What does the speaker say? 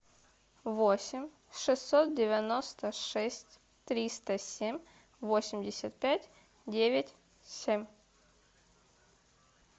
восемь шестьсот девяносто шесть триста семь восемьдесят пять девять семь